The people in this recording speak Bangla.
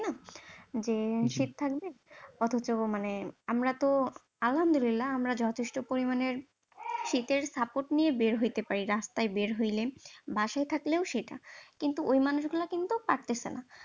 যে শীত থাকবে অথচ মানে আমরা তো আলহামদুলিল্লাহ আমরা যথেষ্ট পরিমাণে শীতের support নিয়ে বের হইতে পারি, রাস্তায় বের হইলে, বাসায় থাকলেও সেটা কিন্তু ওই মানুষ গুলো কিন্তু পারতেছে না ।